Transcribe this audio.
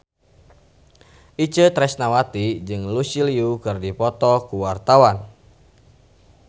Itje Tresnawati jeung Lucy Liu keur dipoto ku wartawan